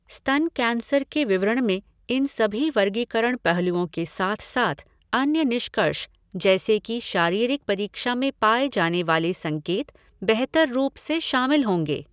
स्तन कैंसर के विवरण में इन सभी वर्गीकरण पहलुओं के साथ साथ अन्य निष्कर्ष, जैसे कि शारीरिक परीक्षा में पाए जाने वाले संकेत, बेहतर रूप से शामिल होंगे।